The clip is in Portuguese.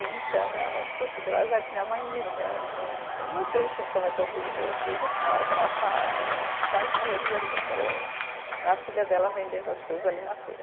Então, minha mãe Deu azar que minha mãe me, né no. Eu não sei assim como é que eu fiz, eu foi justo na hora que ela estava, aí ela quase morreu de vergonha, a filha dela vendendo as coisas ali na feira.